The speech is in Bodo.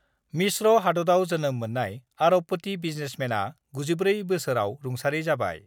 मिस्र' हादतआव जोनोम मोननाय आरबपति बिजनेसमेनआ 94 बोसोराव रुंसारि जाबाय